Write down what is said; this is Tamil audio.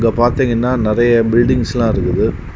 இத பாத்தீங்கன்னா நிறைய பில்டிங்ஸ்லா இருக்குது.